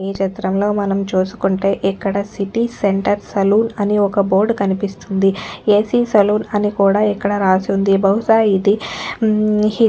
ఈ చిత్రంలో మనం చూసుకుంటే ఇక్కడ సిటీ సెంటర్ సెలూన్ అని ఒక్క బోర్డ్ కనిపిస్తుంది ఏసి సెలూన్ అని కూడా ఇక్కడ రాసుంది. బహుశ ఇది ఉమ్ హి --